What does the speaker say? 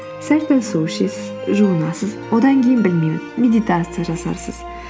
сәл пәл су ішесіз жуынасыз одан кейін білмеймін медитация жасарсыз